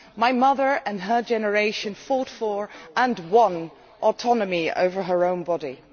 My mother and her generation fought for, and won, autonomy over their own bodies.